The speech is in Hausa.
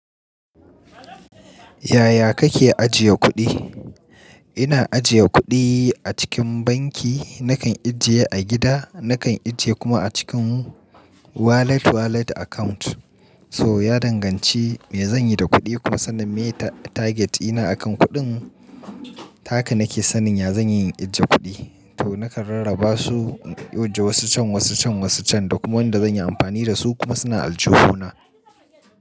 Yaya kake ajiye kuɗi? Ina ajiye kuɗi a cikin banki. Nakan ajiye a gida. Nakan ajiye kuma a cikin wallet, wallet account. So ya danganci me zanyi da kuɗi kuma sannan mene target ɗina akan kuɗin. Ta haka nake sanin ya zanyi in ajiye kuɗi. To nakan rarraba su, in aje wasu can, wasu can, wasu can. Da kuma wanda zanyi amfani da su kuma suna aljihuna.